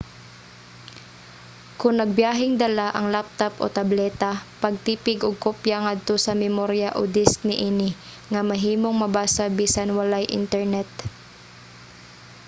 kon nagbiyaheng dala ang laptop o tableta pagtipig og kopya ngadto sa memorya o disk niini nga mahimong mabasa bisan walay internet